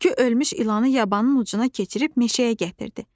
Tülkü ölmüş ilanı yabanın ucuna keçirib meşəyə gətirdi.